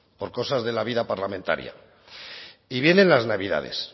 por cosas de la vida parlamentaria y vienen las navidades